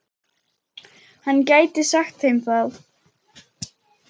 Hann gæti sagt þeim það.